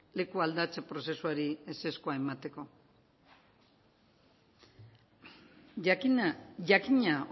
leku aldatzeko prozesuari ezerkoa emateko jakina